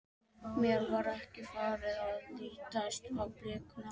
Mér var ekki farið að lítast á blikuna.